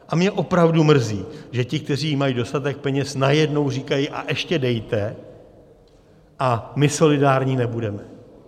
A mě opravdu mrzí, že ti, kteří mají dostatek peněz, najednou říkají: a ještě dejte a my solidární nebudeme.